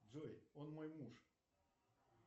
джой он мой муж